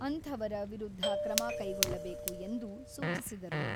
ಅಂಥವರ ವಿರುದ್ಧ ಕ್ರಮ ಕೈಗೊಳ್ಳಬೇಕು ಎಂದು ಸೂಚಿಸಿದರು.